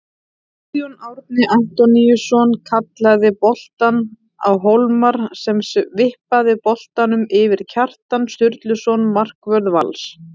Guðjón Árni Antoníusson skallaði boltann á Hólmar sem vippaði boltanum yfir Kjartan Sturluson markvörð Vals.